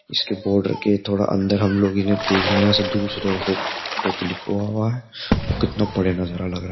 इसके बॉर्डर के थोड़ा अंदर हम लोग इन्हें देख रहे हैं यहां से दूर से थोड़ादोसो तीनसौ फोटो क्लिक हुआ है वो कितना बड़े नज़र है।